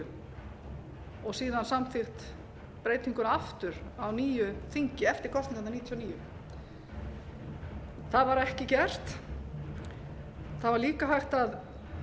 níu og síðan samþykkt breytinguna aftur á nýju þingi eftir kosningarnar nítján hundruð níutíu og níu það var ekki gert það var líka hægt að